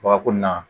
Babako la